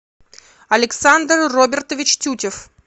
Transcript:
александр робертович тютев